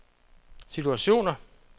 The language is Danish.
situationer